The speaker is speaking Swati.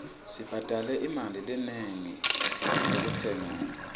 sibhadale imali lenengi ekutsengeni